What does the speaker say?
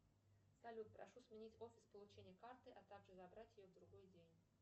салют прошу сменить офис получения карты а также забрать ее в другой день